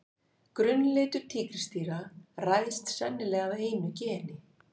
Grunnlitur tígrisdýra ræðst sennilega af einu geni.